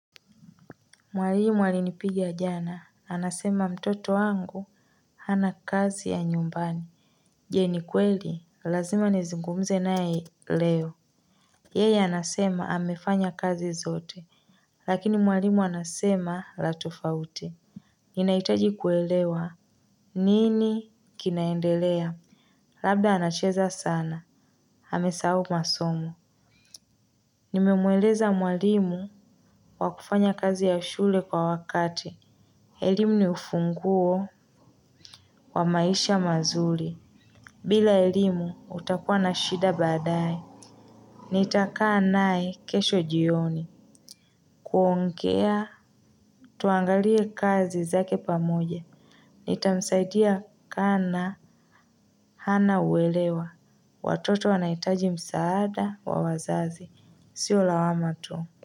Mwalimu alinipigia jana anasema mtoto wangu hana kazi ya nyumbani. Je ni kweli, lazima nizungumze naye leo. Yeye anasema amefanya kazi zote. Lakini mwalimu anasema la tofauti. Ninahitaji kuelewa. Nini kinaendelea. Labda anacheza sana amesahau masomo. Nimemweleza mwalimu wa kufanya kazi ya shule kwa wakati. Elimu ni ufunguo wa maisha mazuri. Bila elimu utakuwa na shida baadae. Nitakaa naye kesho jioni. Kuongea tuangalie kazi zake pamoja. Nitamsaidia kana hana uelewa watoto wanahitaji msaada wa wazazi sio lawama tu.